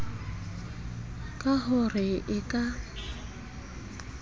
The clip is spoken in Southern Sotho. ka ho re e ka